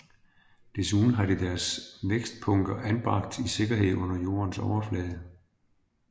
Desuden har de deres vækstpunkter anbragt i sikkerhed under jordens overflade